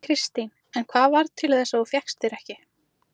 Kristín: En hvað varð til þess að þú fékkst þér ekki?